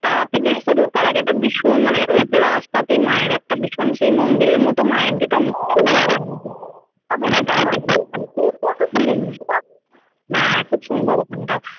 তারাপীঠ জানিস তো ঢোকার আগে একটা ভীষণ মানে ওই রাস্তাতেই মায়ের একটা ভীষণ সেই মন্দিরের মতো মায়ের যেটা হ্যাঁ খুব সুন্দর ওখানটা